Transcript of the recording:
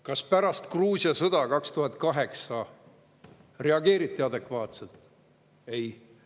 Kas pärast Gruusia sõda 2008 reageeriti adekvaatselt?